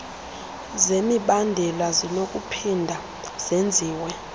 zemibandela zinokuphinda zenziwe